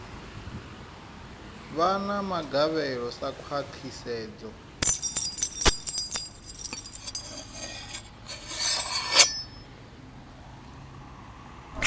vha na magavhelo sa khwahisedzo